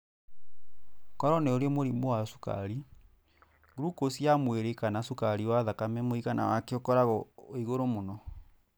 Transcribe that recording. Koro nĩũrĩ mũrimũ wa cukari, glucose ya mwĩrĩ waku kana cukari wa thakame mũiagana wake ũkoragwo wĩ igũrũ mũno.